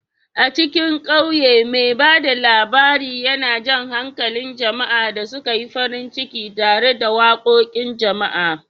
A cikin ƙauye, mai ba da labari yana jan hankalin jama'a da suka yi farin ciki tare da waƙoƙin jama'a.